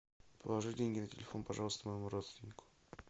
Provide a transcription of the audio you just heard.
положи деньги на телефон пожалуйста моему родственнику